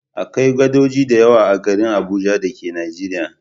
Akwai gadoji da yawa a garin Abuja da ke Nijeriya.